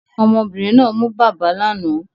Ọmọbìnrin náà mu bàbá lánàá